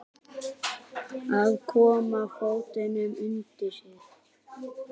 Að koma fótunum undir sig